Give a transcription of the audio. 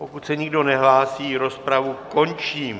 Pokud se nikdo nehlásí, rozpravu končím.